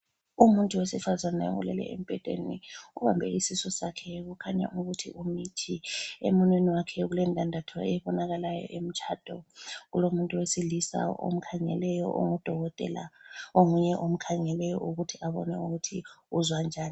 Umuntu wesifazane ulele embhedeni ubambe isisu sakhe kukhanya ukuthi umithi. Emunweni wakhe ulendandatho ebonakalayo eyomtshado kulomuntu wesilisa omkhangeleyo ongudokotela onguye omkhangeleyo ukuthi abone ukuthi uzwa njani.